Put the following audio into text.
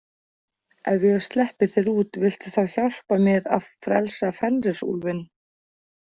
Ef ég sleppi þér út, viltu þá hjálpa mér að frelsa Fenrisúlfinn?